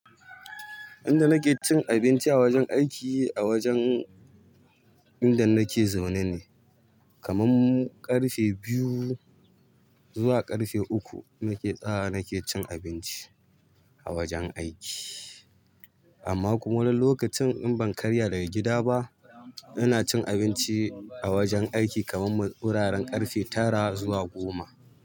Inda nake cin abinci a wajen aiki, a wajen inda nake zaune ne. Kaman ƙarfe biyu zuwa ƙarfe uku nake tsayawa nake cin abinci a wajen aiki. Amma kuma wani lokacin, in ban karya daga gida ba, ina cin abinci a wajen aiki kaman wuraren ƙarfe tara zuwa goma.